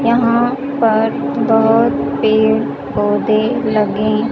यहां पर बोहोत पेड़ पौधे लगे--